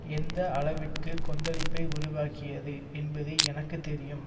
எந்த அளவிற்கு கொந்தளிப்பை உருவாக்கியது என்பது எனக்கு தெரியும்